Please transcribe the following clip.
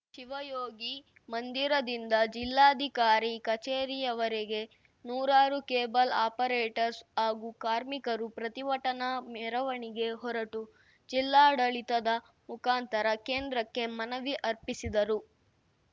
ಶಿವಯೋಗಿ ಮಂದಿರದಿಂದ ಜಿಲ್ಲಾಧಿಕಾರಿ ಕಚೇರಿಯವರೆಗೆ ನೂರಾರು ಕೇಬಲ್‌ ಆಪರೇಟರ್ಸ್ ಹಾಗೂ ಕಾರ್ಮಿಕರು ಪ್ರತಿಭಟನಾ ಮೆರವಣಿಗೆ ಹೊರಟು ಜಿಲ್ಲಾಡಳಿತದ ಮುಖಾಂತರ ಕೇಂದ್ರಕ್ಕೆ ಮನವಿ ಅರ್ಪಿಸಿದರು